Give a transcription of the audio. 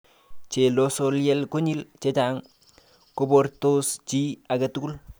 Chelososyel konyil chechang koboortos chi age tugul.